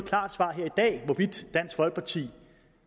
hvorvidt dansk folkeparti